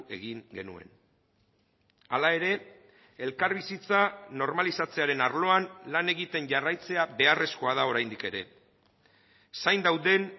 egin genuen hala ere elkarbizitza normalizatzearen arloan lan egiten jarraitzea beharrezkoa da oraindik ere zain dauden